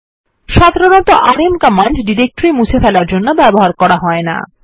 সাধারণতঃ rm command directory মুছে ফেলার জন্য ব্যবহার করা হয় না